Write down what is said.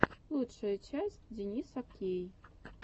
лучшая часть дениса кей